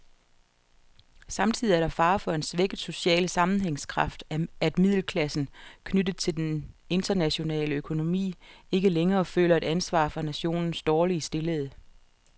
Samtidig er der fare for en svækket social sammenhængskraft, at middelklassen, knyttet til den internationale økonomi, ikke længere føler et ansvar for nationens dårligt stillede.